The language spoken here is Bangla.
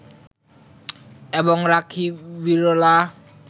এবং রাখি বিড়লা